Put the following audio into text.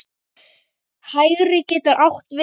Hægri getur átt við